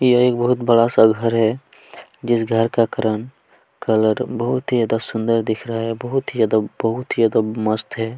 यह एक बहुत बड़ा सा घर हैजिस घर का रंग करन कलर बहुत ही ज्यादा सुंदर दिख रहा है बहुत ही ज्यादा बहुत ही ज्यादा मस्त है।